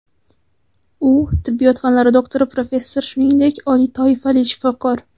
U tibbiyot fanlari doktori, professor, shuningdek, oliy toifali shifokor.